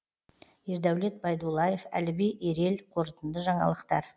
ердәулет байдуллаев әліби ерел қорытынды жаңалықтар